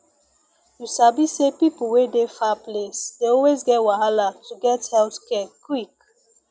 you sabi say people wey dey far place dey always get wahala to get health care quick